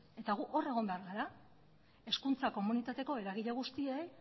eta gu hor egon behar gara hezkuntza komunitateko eragile guztiek